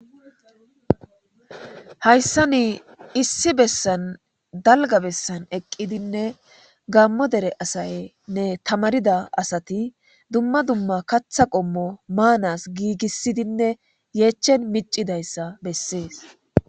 "Hayssan issi bessan dalgga bessan eqqidinne Gaamo dere asaynne tamaarida asati dumma dumma kaththa qommo maanas giigisidinne yeechen miccidaysa besees."